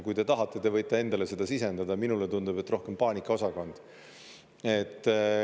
Kui te tahate, te võite endale seda sisendada, minule tundub, et rohkem paanikaosakond.